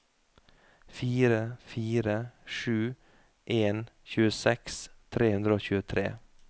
fire fire sju en tjueseks tre hundre og tjuetre